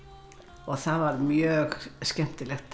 það var mjög skemmtilegt að